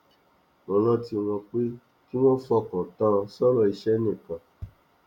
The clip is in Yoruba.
mo rántí wọn pé kí wón fokàn tán sọrọ iṣẹ nìkan